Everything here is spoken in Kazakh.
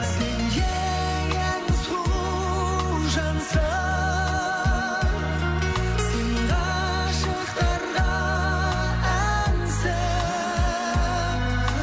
сен ең ең сұлу жансың сен ғашықтарға әнсің